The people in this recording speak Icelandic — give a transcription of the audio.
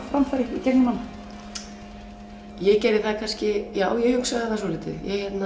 framfæri í gegnum hana ég gerði það kannski já ég hugsaði það svolítið